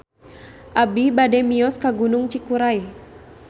Abi bade mios ka Gunung Cikuray